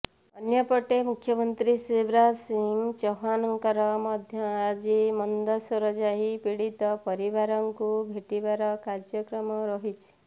ଅନ୍ୟପଟେ ମୁଖ୍ୟମନ୍ତ୍ରୀ ଶିବରାଜ ସିଂ ଚୌହାନଙ୍କର ମଧ୍ୟ ଆଜି ମନ୍ଦସୌର ଯାଇ ପୀଡିତ ପରିବାରଙ୍କୁ ଭେଟିବାର କାର୍ଯ୍ୟକ୍ରମ ରହିଛି